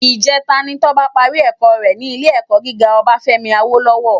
Ijètá ni Toba pàrí èkò rè ni Ilé èkò gigá Obafemi Awolowo